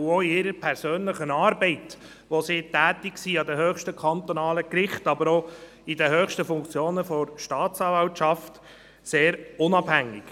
Auch in ihrer persönlichen Arbeit, in der sie an den höchsten kantonalen Gerichten tätig sind, aber auch in den höchsten Funktionen der Staatsanwaltschaft sind sie sehr unabhängig.